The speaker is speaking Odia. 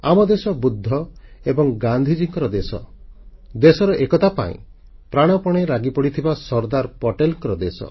ଆମ ଦେଶ ବୁଦ୍ଧ ଏବଂ ଗାନ୍ଧୀଙ୍କ ଦେଶ ଦେଶର ଏକତା ପାଇଁ ପ୍ରାଣପଣେ ଲାଗିପଡ଼ିଥିବା ସର୍ଦ୍ଦାର ପଟେଲଙ୍କ ଦେଶ